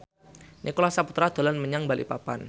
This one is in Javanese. Nicholas Saputra dolan menyang Balikpapan